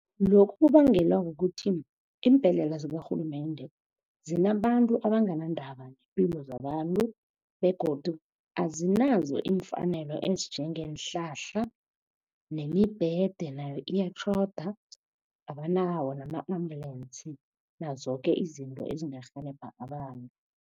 Lokhu kubangelwa kukuthi iimbhedlela zikarhulumende zinabantu abanganandaba neempilo zabantu begodu azinazo iimfanelo ezinjengeenhlahla nemibhede nayo iyatjhoda abanawo nama-ambulance nazo zoke izinto ezingarhelebha abantu.